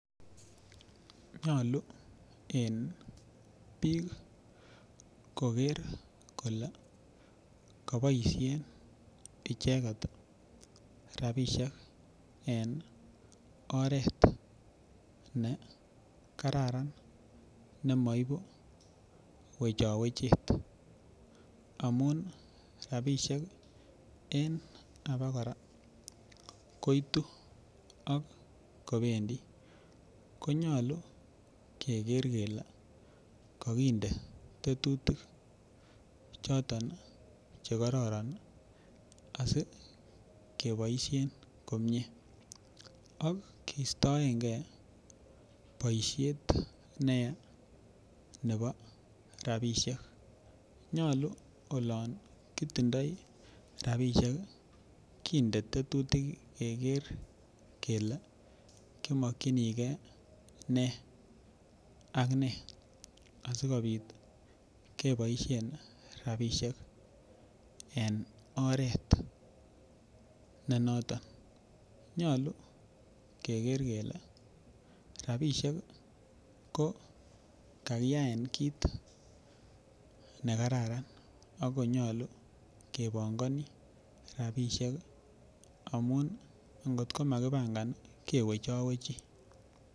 Nyolu en biik koker kole koboisien icheket rapisiek en oret nekararan nemoibu wechowechet amun rapisiek en abokora koitu ak kobendii konyolu keker kele kokinde tetutik choton chekororon asikeboisien komie ak kistoengee boisiet neyaa nebo rapisiek nyolu olon kitindoi rapisiek ih kinde tetutik keker kele imokyinigee nee ak nee asikobit keboisien rapisiek en oret be noton. Nyolu keker kele rapisiek ko kakiyaen kit nekararan ako nyolu kobongoni rapisiek amun ngotko makibangan ih kewechowechi